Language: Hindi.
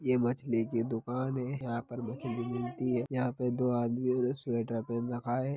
यह मछली की दुकान है यहा पर मछली मिलती है यह पर दो आदमिओ ने स्वेटर पहन रखा है।